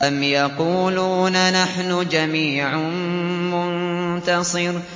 أَمْ يَقُولُونَ نَحْنُ جَمِيعٌ مُّنتَصِرٌ